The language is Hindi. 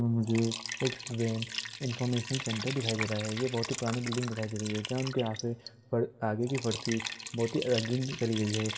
मुझे एक स्टूडेंट इन्फॉर्मेशन सेंटर दिखाई दे रहा है| ये बोहत ही पुरानी बिल्डिंग दिखाई दे रही है जंख के आगे-आगे की बोहत ही रंगीन करी गई है।